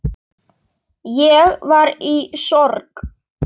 Ég var í sorg.